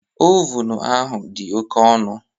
Ovunu ahụ dị oke ọnụ